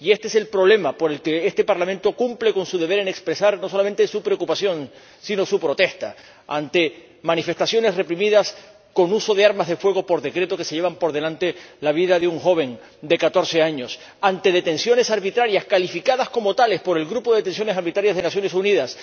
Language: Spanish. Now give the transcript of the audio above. Y este es el problema por el que este Parlamento cumple con su deber en expresar no solamente su preocupación, sino su protesta ante manifestaciones reprimidas con uso de armas de fuego por decreto que se llevan por delante la vida de un joven de catorce años ante detenciones arbitrarias, calificadas como tales por el Grupo de Trabajo sobre la Detención Arbitraria de las Naciones Unidas.